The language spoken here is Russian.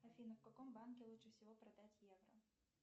афина в каком банке лучше всего продать евро